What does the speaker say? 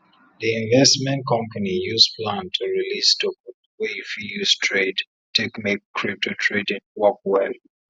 di investment company use plan to release token wey you fit use trade take make crpto trading work well